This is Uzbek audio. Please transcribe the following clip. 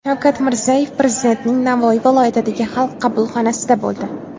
Shavkat Mirziyoyev Prezidentning Navoiy viloyatidagi Xalq qabulxonasida bo‘ldi.